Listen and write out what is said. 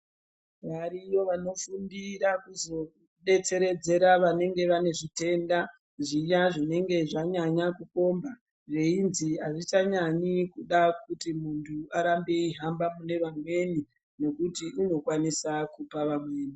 Variyo vanofundira, kuzodetseredzera vanenge vane zvitenda, zviya zvinenge zvanyanya kukomba, veizwi azvichanyanyi kuda kuzwi munthu arambe eihamba kune vamweni, nokuti unokwanisa kupa vamweni.